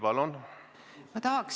Palun!